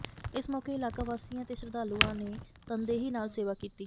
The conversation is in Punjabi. ਇਸ ਮੌਕੇ ਇਲਾਕਾ ਵਾਸੀਆਂ ਤੇ ਸ਼ਰਧਾਲੂਾਂ ਨੇ ਤਨਦੇਹੀ ਨਾਲ ਸੇਵਾ ਕੀਤੀ